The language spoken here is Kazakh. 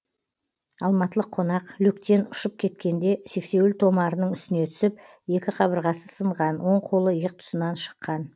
алматылық қонақ люктен ұшып кеткенде сексеуіл томарының үстіне түсіп екі қабырғасы сынған оң қолы иық тұсынан шыққан